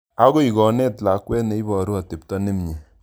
Akoi konet lakwet ne iporu atepto ne mye